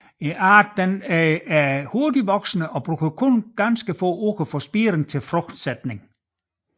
Arten er hurtigt voksende og bruger kun få uger fra spiring til frugtsætning